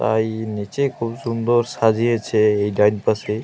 তাই নিচে খুব সুন্দর সাজিয়েছে এই ডান পাশে ।